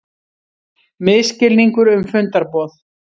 Misskilningur um fundarboð